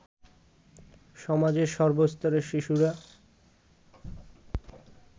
সমাজের সর্বস্তরের শিশুরা